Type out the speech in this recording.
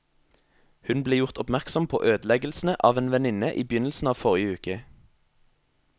Hun ble gjort oppmerksom på ødeleggelsene av en venninne i begynnelsen av forrige uke.